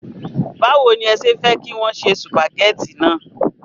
Báwo ni ẹ ṣe fẹ́ kí wọn se sùpàgẹ́tì náà?